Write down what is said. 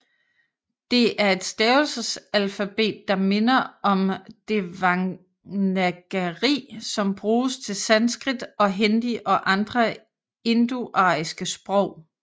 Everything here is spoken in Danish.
Det er et stavelsesalfabet der minder om devanagari som bruges til sanskrit og hindi og andre indoariske sprog